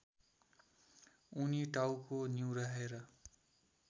उनी टाउको निहुर्याएर